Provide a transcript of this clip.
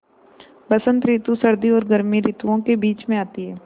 बसंत रितु सर्दी और गर्मी रितुवो के बीच मे आती हैँ